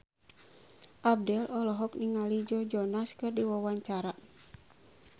Abdel olohok ningali Joe Jonas keur diwawancara